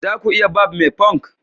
za ku iya Barb me punk